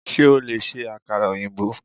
Sé o lè se àkàrà òyìnbó?